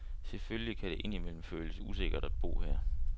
Selvfølgelig kan det ind imellem føles usikkert at bo her.